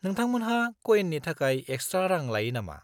-नोंथांमोनहा कयेननि थाखाय एक्सट्रा रां लायो नामा?